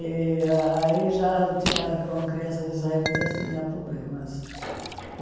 E aí já tinha, com crianças israelitas, tinha problemas.